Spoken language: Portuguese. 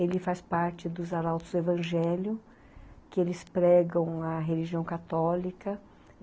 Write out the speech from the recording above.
Ele faz parte dos Arautos do Evangelho, que eles pregam a religião católica.